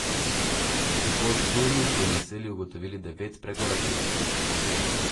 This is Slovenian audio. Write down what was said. V Podturnu so v naselju ugotovili devet prekoračitev.